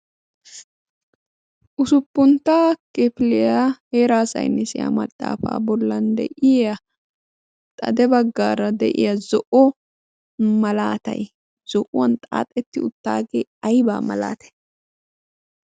usuppunttaa kefiliyaa eeraasainisiyaa maxaafaa bollan de'iya xade baggaara de'iya zo'o malaatay zo'uwan xaaxetti uttaagee aybaa malaata.